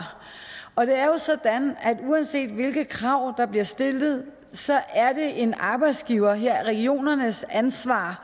og det er jo sådan at uanset hvilke krav der bliver stillet er det en arbejdsgivers her regionernes ansvar